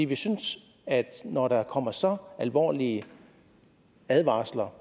vi synes at når der kommer så alvorlige advarsler